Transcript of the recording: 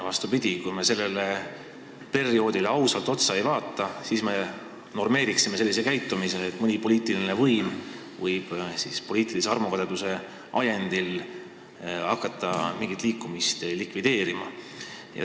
Vastupidi, kui me sellele perioodile ausalt otsa ei vaata, siis normeeriksime sellise suhtumise, et mõni poliitiline võim võib poliitilise armukadeduse ajendil hakata mingit liikumist likvideerima.